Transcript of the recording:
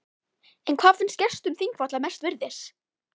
En hvað finnst gestum þingvalla mest virðis?